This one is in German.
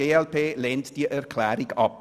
Die glp lehnt die Planungserklärung 6 ab.